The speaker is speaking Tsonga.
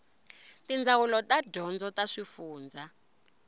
tindzawulo ta dyondzo ta swifundzha